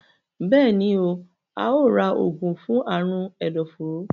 Béèni óò rà oògùn fún Àrùn ẹdọforó.